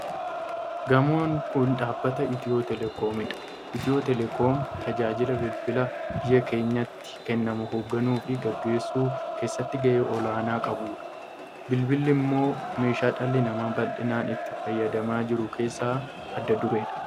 Gamoon kun dhaabbata Itiyoo Telekoom dha. Itiyoo telekoom tajaajila bilbilaa biyya keenyatti kennanmu hogganuu fi gaggeessuu keessatti gahee olaanaa lan qabudha. Bilbilli immoo meeshaa dhalli namaa baldhinaan itti fayyadamaa jiru keessaa adda dureedha.